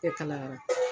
E kalayara